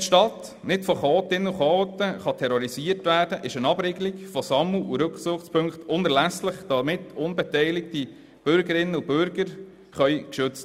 Damit die Stadt nicht von Chaotinnen und Chaoten terrorisiert werden kann und unbeteiligte Bürgerinnen und Bürger geschützt werden können, ist eine Abriegelung von Sammel- und Rückzugspunkten unerlässlich.